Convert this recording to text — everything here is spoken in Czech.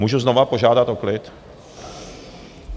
Můžu znovu požádat o klid?